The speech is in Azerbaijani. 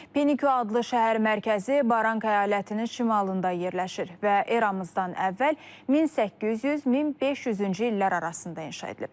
Penikyo adlı şəhər mərkəzi Baranka əyalətinin şimalında yerləşir və eramızdan əvvəl 1800-1500-cü illər arasında inşa edilib.